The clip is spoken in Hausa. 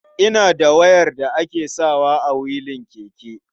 Ina da wayar da ake sawa a wilin keke.